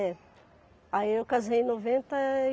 É. Aí eu casei em noventa e